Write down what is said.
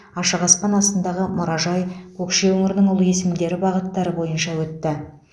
ашық аспан астындағы мұражай көкше өңірінің ұлы есімдері бағыттары бойынша өтті